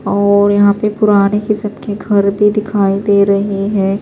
.اور یحیٰ پی پرانے کسم کے گھر بھی دکھائی دے رہے ہیں